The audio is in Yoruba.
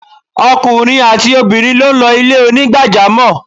Okùnrin àti obìrin lo n lo Ilé onígbàjámò